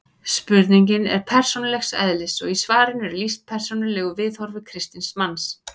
Spurningin er persónulegs eðlis og í svarinu er lýst persónulegu viðhorfi kristins manns.